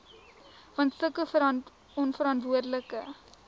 want sulke onverantwoordelike